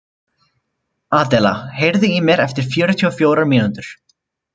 Adela, heyrðu í mér eftir fjörutíu og fjórar mínútur.